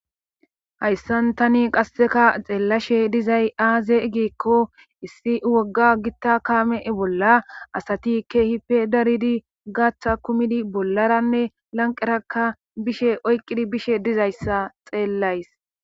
hayssan tani qasseka xeellashe dizay aaze gikko issi wogga gitta kaame bolla asati ke hipe daridi gaththa kumidi bollaranne lanqeraka bishe oyqqidi bishe dizayssa xeellays